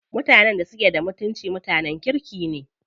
Mutanen da suke da mutunci mutanen kirki ne.